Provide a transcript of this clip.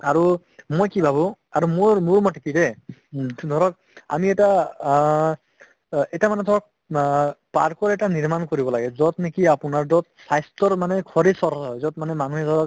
আৰু মই কি ভাবো আৰু মোৰ মোৰমতে কি দে ধৰক আমি এটা আ অ ইতা মানে ধৰক আ park ও এটা নিৰ্মান কৰিব লাগে যত নেকি আপোনাৰ যত স্ৱাস্থ্যৰ মানে শৰীৰ চৰ্চা হয় যত মানে মানুহে ধৰক